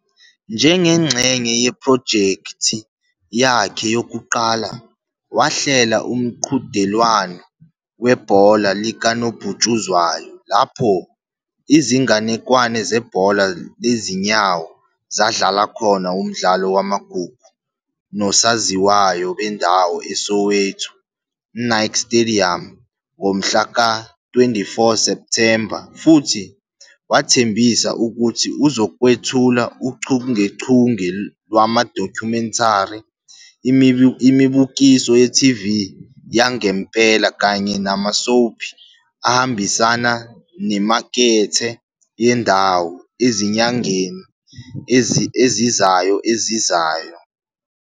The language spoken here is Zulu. Njengengxenye yephrojekthi yakhe yokuqala, wahlela umqhudelwano webhola likanobhutshuzwayo lapho izinganekwane zebhola lezinyawo zadlala khona umdlalo wamagugu nosaziwayo bendawo eSoweto Nike Stadium ngomhla ka-24 Septhemba futhi wathembisa ukuthi uzokwethula uchungechunge lwama-documentary, imibukiso ye-TV yangempela kanye nama-soapie ahambisana nemakethe yendawo ezinyangeni ezizayo ezizayo.